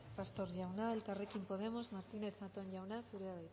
pastor jauna elkarrekin podemos martínez zatón jauna zurea